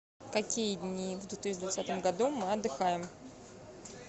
какие дни в две тысячи двадцатом году мы отдыхаем